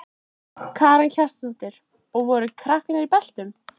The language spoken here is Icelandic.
Karen Kjartansdóttir: Og voru krakkarnir í beltum?